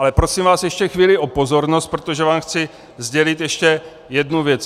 Ale prosím vás ještě chvíli o pozornost, protože vám chci sdělit ještě jednu věc.